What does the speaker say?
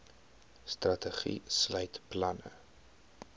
strategie sluit planne